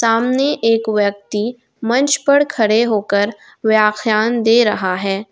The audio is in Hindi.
सामने एक व्यक्ति मंच पर खड़े होकर व्याख्यान दे रहा है।